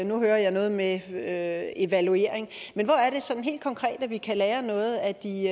nu hører jeg noget med med evaluering men hvor er det sådan helt konkret at vi kan lære noget af de